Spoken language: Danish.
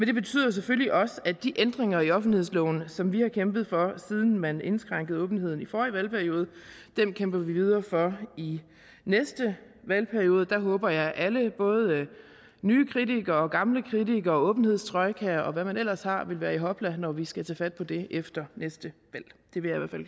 det betyder selvfølgelig også at de ændringer i offentlighedsloven som vi har kæmpet for siden man indskrænkede åbenheden i forrige valgperiode kæmper vi videre for i næste valgperiode der håber jeg at alle både nye kritikere og gamle kritikere og åbenhedstrojkaen og hvad man ellers har vil være i hopla når vi skal tage fat på det efter næste